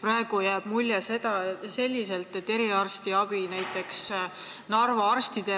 Praegu jääb selline mulje, et eriarstiabis, näiteks Narva arstide